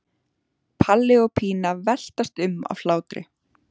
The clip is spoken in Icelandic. Palli og Pína veltast um af hlátri.